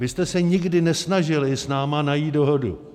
Vy jste se nikdy nesnažili s námi najít dohodu.